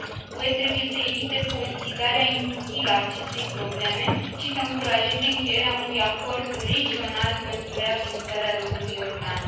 UE trebuie să evite politizarea inutilă a acestei probleme și să încurajeze încheierea unui acord regional pentru reabilitarea râului Iordan.